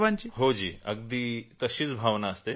हां जी अगदी तशीच भावना असते